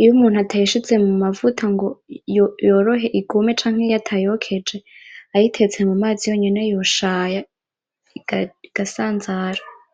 iyo umuntu atayishize mumavuta ngo yorohe igume canke iyo batayokeje bayitetse mumazi yonyene yoshaya igasanzara .